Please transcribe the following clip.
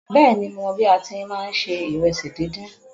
Bẹ́ẹ̀ni, Mo mọ bí a tin ṣe má ńṣe ìrẹ́sì díndín.